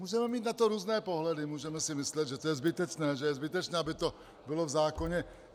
Můžeme mít na to různé pohledy, můžeme si myslet, že to je zbytečné, že je zbytečné, aby to bylo v zákoně.